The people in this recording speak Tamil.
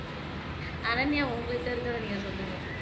அனன்யா உங்களுகிட்ட இருக்கறத நீங்க சொல்லுங்க